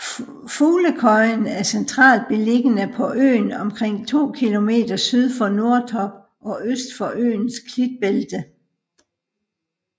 Fuglekøjen er centralt beliggende på øen omtrent 2 km syd for Nordtorp og øst for øens klitbælte